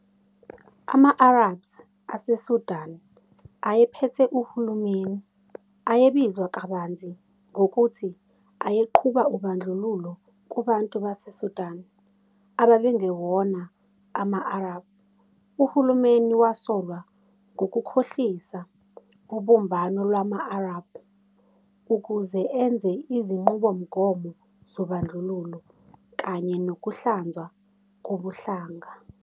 Ama-Arabs aseSudan, ayephethe uhulumeni, ayebizwa kabanzi ngokuthi ayeqhuba ubandlululo kubantu baseSudan ababengewona ama-Arab. Uhulumeni wasolwa "ngokukhohlisa, ing, ubumbano lwama-Arab" ukuze enze izinqubomgomo zobandlululo kanye nokuhlanzwa kobuhlanga.